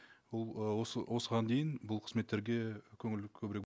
бұл ы осы осыған дейін бұл қызметтерге көңіл көбірек